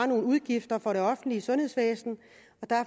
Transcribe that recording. nogle udgifter for det offentlige sundhedsvæsen